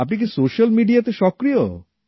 আপনি কি সোশ্যাল মিডিয়াতে সক্রিয়